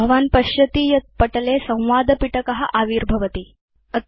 भवान् पश्यति यत् पटले संवादपिटकम् आविर्भवति